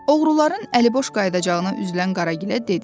Oğruların əliboş qayıdacağına üzülən Qaragilə dedi: